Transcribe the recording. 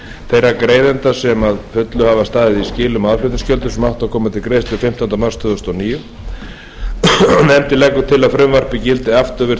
þeirra greiðenda sem að fullu hafa staðið skil á aðflutningsgjöldum sem koma áttu til greiðslu fimmtánda mars tvö þúsund og níu nefndin leggur til að frumvarpið gildi afturvirkt